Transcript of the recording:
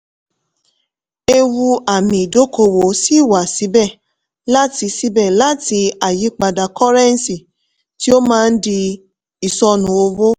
ewu àmì ìdókòwò ṣì wà síbẹ̀ láti síbẹ̀ láti àyípadà kọ́rẹ́nńsì tí ó máa ń di ìsọnù owó.